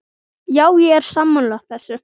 Já, ég er sammála þessu.